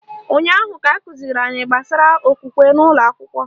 Ụnyaahụ ka akụziri anyị gbasara okwukwe n'ụlọakwụkwọ